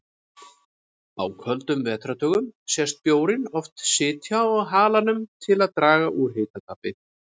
Á köldum vetrardögum sést bjórinn oft sitja á halanum til að draga úr hitatapi.